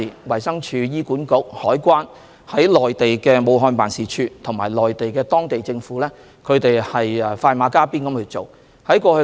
衞生署、醫管局、香港海關及駐武漢辦的同事，以及當地政府快馬加鞭，處理港人藥物方面的需求。